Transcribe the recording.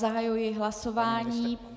Zahajuji hlasování.